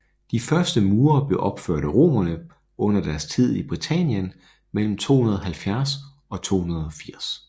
De første mure blev opført af romerne under deres tid i Britannien mellem 270 og 280